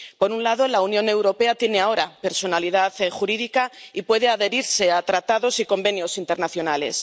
Por un lado, la Unión Europea tiene ahora personalidad jurídica y puede adherirse a tratados y convenios internacionales.